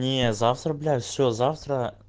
не завтра блять все завтра